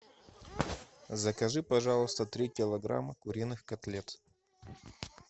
закажи пожалуйста три килограмма куриных котлет